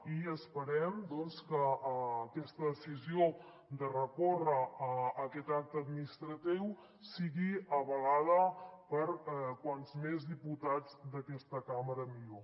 i esperem que aquesta decisió de recórrer aquest acte administratiu sigui avalada per com més diputats d’aquesta càmera millor